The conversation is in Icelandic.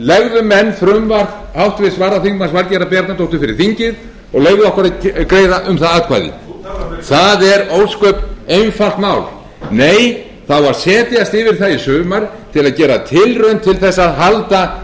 legðu menn frumvarp háttvirtur varaþm valgerðar bjarnadóttur fyrir þingið og leyfðu okkur að greiða um það atkvæði það er ósköp einfalt mál nei það á að setjast yfir það í sumar til að gera tilraun til þess að halda